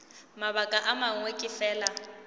mabaka a mangwe ke fela